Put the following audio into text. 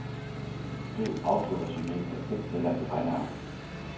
Skriv autoresumé af tekstceller i regneark.